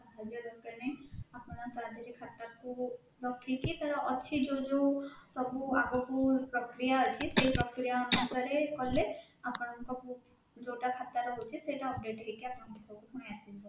ଭାବିବା ଦରକାର ନାହିଁ ଆପଣ ତା ଦେହ ରେ ଖାତା କୁ ରଖିକି ତା ର ଅଛି ଯୋଉ ଯୋଉ ସବୁ ଆଗକୁ ପ୍ରକ୍ରିୟା ଅଛି ସେଇ ପ୍ରକ୍ରିୟା ସାହାର୍ଯ୍ୟରେ କଲେ ଆପଣଙ୍କ ଯୋଉଟା ଖାତା ରହୁଛି ସେଇଟା update ହେଇକି ଆପଣଙ୍କ ପୁଣି ପାଖକୁ ଆସିଯିବ